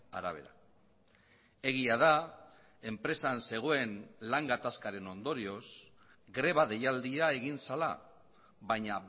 arabera egia da enpresan zegoen lan gatazkaren ondorioz greba deialdia egin zela baina